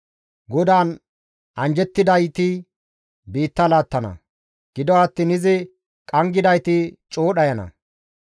GODAAN anjjettidayti biitta laattana; gido attiin izi qanggidayti coo dhayana.